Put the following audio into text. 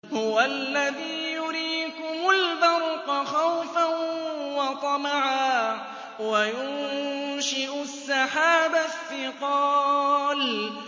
هُوَ الَّذِي يُرِيكُمُ الْبَرْقَ خَوْفًا وَطَمَعًا وَيُنشِئُ السَّحَابَ الثِّقَالَ